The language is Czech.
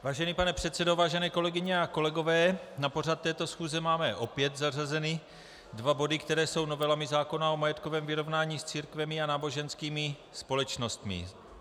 Vážený pane předsedo, vážené kolegyně a kolegové, na pořad této schůze máme opět zařazeny dva body, které jsou novelami zákona o majetkovém vyrovnání s církvemi a náboženskými společnostmi.